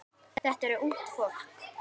Þetta er ungt fólk.